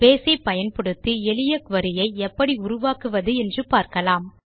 base ஐ பயன்படுத்தி எளிய குரி ஐ எப்படி உருவாக்குவது என்று பார்க்கலாம்